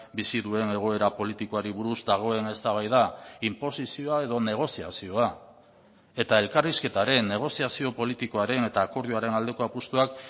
bizi duen egoera politikoari buruz dagoen eztabaida inposizioa edo negoziazioa eta elkarrizketaren negoziazio politikoaren eta akordioaren aldeko apustuak